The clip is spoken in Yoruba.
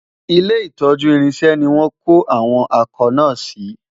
ilé itọju irinṣẹ ní wón kò àwọn akọ na si